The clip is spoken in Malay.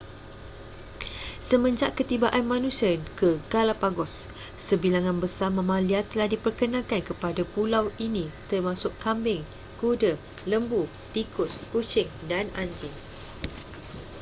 semenjak ketibaan manusia ke galapagos sebilangan besar mamalia telah diperkenalkan kepada pulau ini termasuk kambing kuda lembu tikus kucing dan anjing